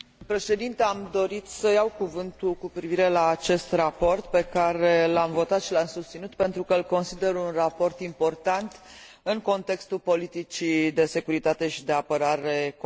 Am dorit să iau cuvântul cu privire la acest raport pe care l am votat și l am susținut, pentru că îl consider un raport important în contextul politicii de securitate și de apărare comune.